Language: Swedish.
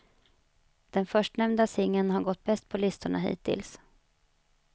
Den förstnämnda singeln har gått bäst på listorna hittills.